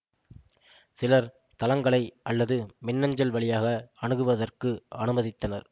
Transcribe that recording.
சிலர் தளங்களை அல்லது மின்னஞ்சல் வழியாக அணுகுவதற்கு அனுமதித்தனர்